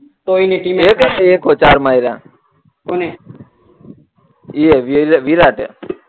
કોઈ ની ટીમે એ કા એકસો ચાર માયરા કોણે એ વી વિરાટ